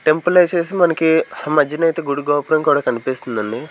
టెంపులేసేసి మనకి హ మజ్జినైతే గుడి గోపురం కూడా కనిపిస్తుందండి.